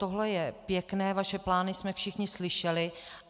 Tohle je pěkné, vaše plány jsme všichni slyšeli.